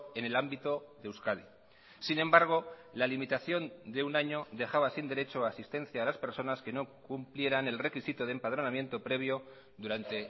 en el ámbito de euskadi sin embargo la limitación de un año dejaba sin derecho a asistencia a las personas que no cumplieran el requisito de empadronamiento previo durante